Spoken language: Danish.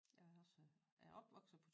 Jeg er også er opvokset på